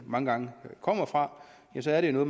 mange gange kommer fra så er det jo